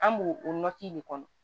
An b'o o de kɔnɔ